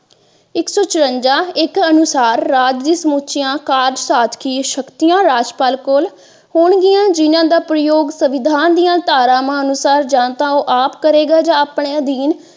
ਇੱਕ ਸੋ ਚਰਵੰਜਾ ਇਸ ਦੇ ਅਨੁਸਾਰ ਰਾਜ ਵਿੱਚ ਸਮੁੱਚੀਆਂ ਕਾਰਜ ਸਾਧਕੀ ਸ਼ਕਤੀਆਂ ਰਾਜਪਾਲ ਕੋਲ ਹੋਣਗੀਆਂ ਜਿਨ੍ਹਾਂ ਦਾ ਪ੍ਰਯੋਗ ਸੰਵਿਧਾਨ ਦੀਆ ਧਾਰਾਂਵਾਂ ਅਨੁਸਾਰ ਜਾਂ ਤਾਂ ਉਹ ਆਪ ਕਰੇਗਾ ਜਾ ਆਪਣੇ ਅਧੀਨ।